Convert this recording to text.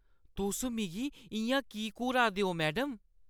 तुस मिगी इ'यां की घूरा दियां ओ, मैडम?